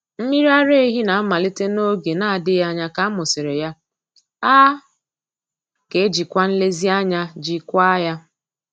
Mmiri ara ehi na-amalite n'oge na-adịghị anya ka a mụsịrị ya, a ga-ejikwa nlezianya jikwaa ya.